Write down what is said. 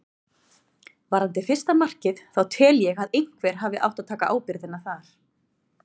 Varðandi fyrsta markið þá tel ég að einhver hafi átt að taka ábyrgðina þar.